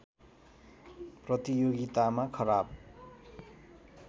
प्रतियोगितामा खराब